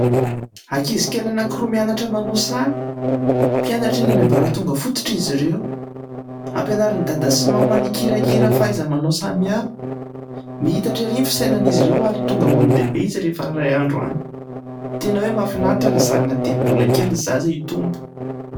Ankizikely anankiroa mianatra manao sary, mpianatra eny amin'ny ambaratonga fototra izy ireo ; ampianarin'i dada sy mamany hikirakira fahaiza-manao samihafa. Mihitatra ery ny fisainan'izy ireo ary tonga olon-dehibe izy rehefa iray andro any. Tena hoe mahafinaritra raha zarina dia ny mbola kely ny zaza hitombo.